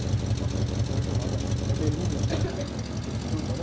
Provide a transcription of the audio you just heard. É a influência lá da, da prostituta, né?